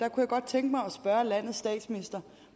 jeg godt tænke mig at spørge landets statsminister